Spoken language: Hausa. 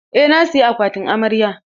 Eh, na saya akwatin amarya.